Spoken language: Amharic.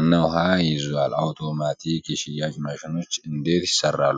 እና ውሃ ይዟል። አውቶማቲክ የሽያጭ ማሽኖች እንዴት ይሰራሉ?